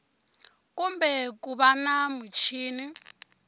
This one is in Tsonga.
kumbe ku va na muchini